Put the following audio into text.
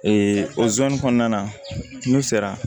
Ee o zonzani kɔnɔna n'u sera